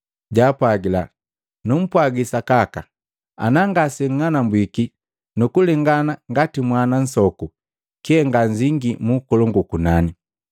Japwagila, “Numpwagi sakaka ana ngaseng'anambwiki na kulengana ngati mwana nsoku, kyee nganzingi mu ukolongu ukunani.